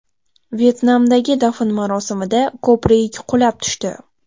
Vyetnamdagi dafn marosimida ko‘prik qulab tushdi.